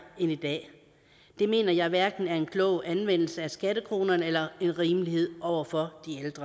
end i dag det mener jeg hverken er en klog anvendelse af skattekronerne eller rimeligt over for